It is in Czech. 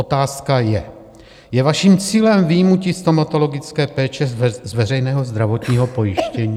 Otázka je: Je vaším cílem vyjmutí stomatologické péče z veřejného zdravotního pojištění?